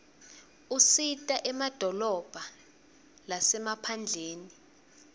usita emadolobha lasemaphandleni